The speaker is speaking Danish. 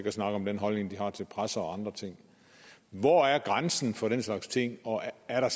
at snakke om den holdning de har til presse og andre ting hvor er grænsen for den slags ting og er er der